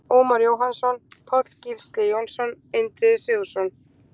Ómar Jóhannsson, Páll Gísli Jónsson, Indriði Sigurðsson,